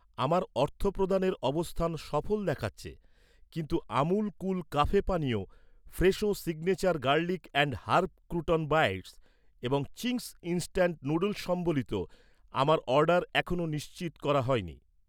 আমার অর্থপ্রদানের অবস্থান সফল দেখাচ্ছে, কিন্তু আমুল কুল কাফে পানীয়, Fresho signature garlic and herb crouton bites এবং চিংস ইন্সট্যান্ট নুডলস্স ম্বলিত আমার অর্ডার এখনও নিশ্চিত করা হয়নি